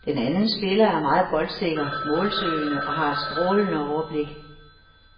Den anden spiller er meget boldsikker, målsøgende og har et strålende overblik.